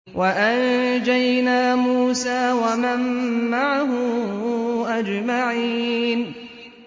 وَأَنجَيْنَا مُوسَىٰ وَمَن مَّعَهُ أَجْمَعِينَ